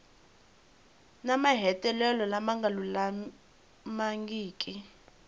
ni mahetelelo lama nga lulamangiki